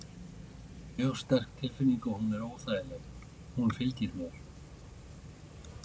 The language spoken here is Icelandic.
Þetta er mjög sterk tilfinning og hún er óþægileg. hún fylgir mér.